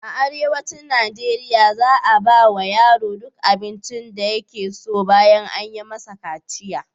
A arewacin Najeriya za a ba wa yaro duk abincin da yake so ɓayan an yi masa kaciya.